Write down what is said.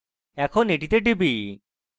এখন এটিতে টিপি